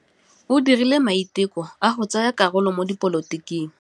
O dirile maitekô a go tsaya karolo mo dipolotiking.